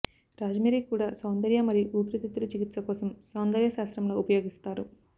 rosemary కూడా సౌందర్య మరియు ఊపిరితిత్తులు చికిత్స కోసం సౌందర్యశాస్త్రంలో ఉపయోగిస్తారు